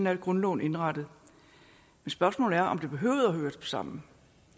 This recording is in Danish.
er grundloven indrettet men spørgsmålet er om det behøvede at høre sammen